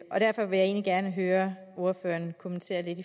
egentlig gerne høre ordføreren kommentere lidt